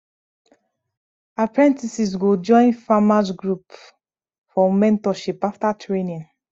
apprentices go join farmers group for mentorship after training